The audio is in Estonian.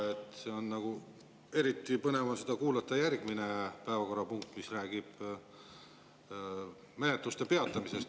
Eriti põnev on seda kuulata siis, kui tuleb järgmine päevakorrapunkt, mis räägib menetluste peatamisest.